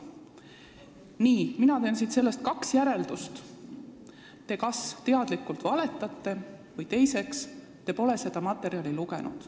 Nii, mina teen sellest kaks järeldust: te kas teadlikult valetate või te pole seda materjali lugenud.